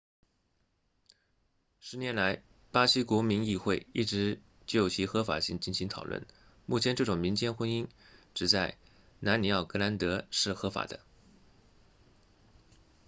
10年来巴西国民议会一直就其合法性进行讨论目前这种民间婚姻只在南里奥格兰德 rio grande do sul 是合法的